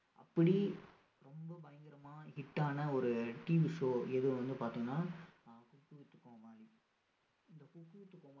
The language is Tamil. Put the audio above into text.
அப்படி ரொம்ப பயங்கரமா hit ஆன ஒரு TV show எது வந்து பார்த்தீங்கன்னா ஆஹ் குக்கு வித்து கோமாளி இந்த குக்கு வித்து கோமாளி